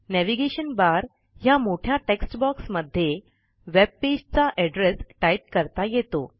navigation bar ह्या मोठ्या text box मध्ये वेबपेजचा एड्रेस टाईप करता येतो